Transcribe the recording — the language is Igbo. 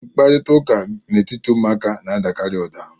Mkparịta ụka n'etiti ụmụaka na-adịkarị ụda